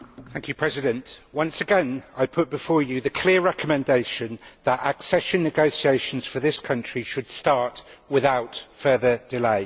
Mr President, once again I put before you the clear recommendation that accession negotiations for this country should start without further delay.